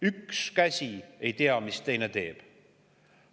Üks käsi ei tea, mida teine teeb.